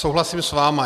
Souhlasím s vámi.